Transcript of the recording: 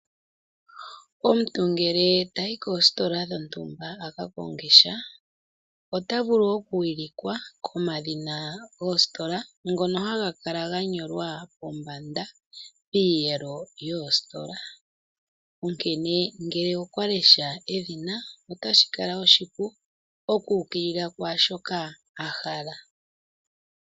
Omuntu ngele tayi koositola dhontumba a ka kongesha, ota vulu okuwilikwa komadhina goositola ngono haga kala ga nyolwa pombanda piiyelo yoositola. Onkene ngele okwa lesha edhina otashi kala oshipu oku ukilila kwaa shoka a hala.